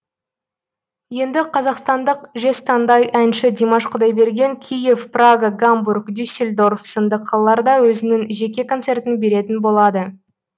енді қазақстандық жезтаңдай әнші димаш құдайберген киев прага гамбург дюсельдорф сынды қалаларда өзінің жеке концертін беретін болады